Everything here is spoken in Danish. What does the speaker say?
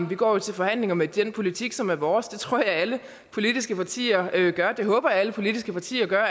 vi går til forhandlinger med den politik som er vores det tror jeg alle politiske partier gør det håber jeg alle politiske partier gør og